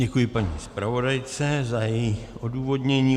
Děkuju paní zpravodajce za její odůvodnění.